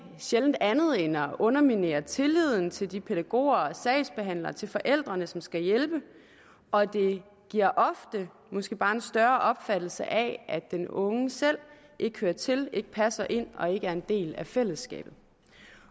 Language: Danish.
sjældent andet end at underminere tilliden til de pædagoger og sagsbehandlere og til forældrene som skal hjælpe og det giver ofte måske bare en større opfattelse af at den unge selv ikke hører til ikke passer ind og ikke er en del af fællesskabet